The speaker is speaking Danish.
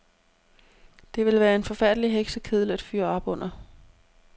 Det ville være en forfærdelig heksekedel at fyre op under.